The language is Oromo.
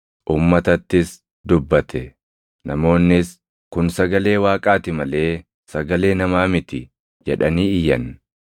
Namoonnis, “Kun sagalee Waaqaati malee sagalee namaa miti” jedhanii iyyan.